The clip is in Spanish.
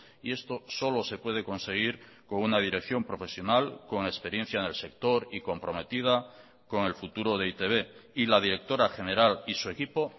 y esto solo se puede conseguir con una dirección profesional con experiencia en el sector y comprometida con el futuro de e i te be y la directora general y su equipo